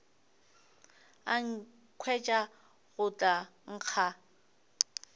a nkhwetša go tla nkga